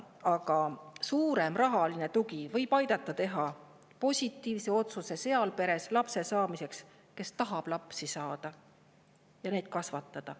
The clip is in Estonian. Aga suurem rahaline tugi võib aidata teha positiivse otsuse lapse saamiseks sellises peres, kus lapsi tahetakse saada ja neid kasvatada.